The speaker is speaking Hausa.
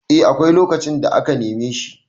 eh akwai lokacin da aka neme shi